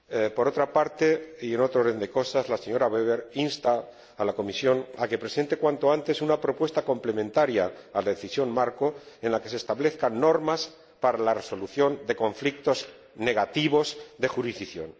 Por otra parte, y en otro orden de cosas, la señora Weber insta a la Comisión a que presente cuanto antes una propuesta complementaria a la decisión marco en la que se establezcan normas para la resolución de conflictos negativos de jurisdicción.